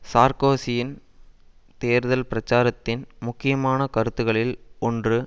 சார்க்கோசியின் தேர்தல் பிரச்சாரத்தின் முக்கியமான கருத்துக்களில் ஒன்று